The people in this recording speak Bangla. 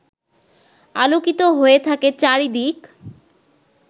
আলোকিত হয়ে থাকে চারদিক